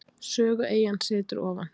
Sögueyjan setur ofan.